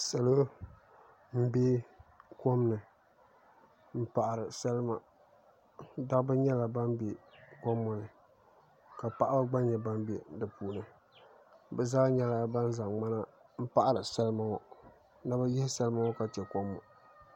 Salo n bɛ kom ni n paɣari salima dabba nyɛla ban bɛ kom ŋo ni ka paɣaba gba nyɛ ban bɛ di puuni bi zaa nyɛla ban zaŋ ŋmana n paɣari salima ŋo ni bi yihi salima ŋo ka chɛ kom ŋo